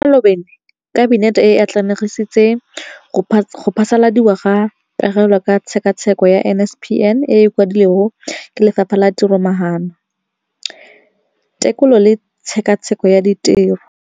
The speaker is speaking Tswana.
Mo malobeng Kabinete e atlenegisitse go phasaladiwa ga Pegelo ka Tshekatsheko ya NSNP e e kwadilweng ke Lefapha la Tiromaano, Tekolo le Tshekatsheko ya Tiro, DPME].